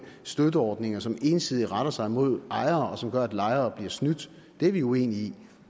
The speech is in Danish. støtteordninger som ensidigt retter sig mod ejere og som gør at lejere bliver snydt det er vi uenige i